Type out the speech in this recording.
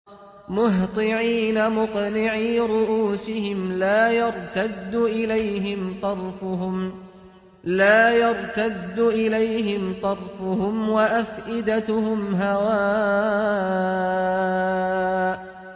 مُهْطِعِينَ مُقْنِعِي رُءُوسِهِمْ لَا يَرْتَدُّ إِلَيْهِمْ طَرْفُهُمْ ۖ وَأَفْئِدَتُهُمْ هَوَاءٌ